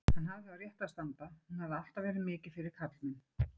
Hann hafði á réttu að standa, hún hafði alltaf verið mikið fyrir karlmenn.